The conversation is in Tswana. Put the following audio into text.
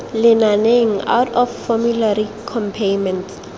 lenaneng out of formulary copayments